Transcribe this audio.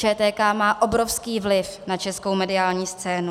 ČTK má obrovský vliv na českou mediální scénu.